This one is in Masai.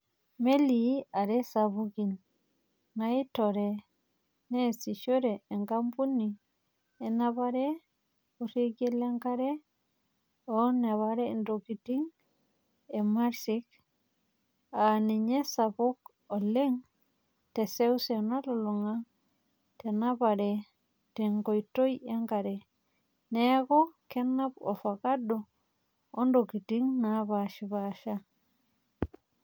Melii are sapukin, naitore nesishore enkampuni enapare orekia le nkare o napare oontokitin e Maersk, aa ninye esapuk oleng teseuse nalunlunga tenapare tenkoitoi enkare, keeku kenap olvakado ontokitin napashipasha.